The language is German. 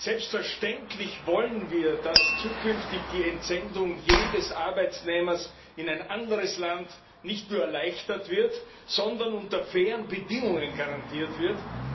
Selbstverständlich wollen wir, dass zukünftig die Entsendung jedes Arbeitnehmers in ein anderes Land nicht nur erleichtert, sondern unter fairen Bedingungen garantiert wird.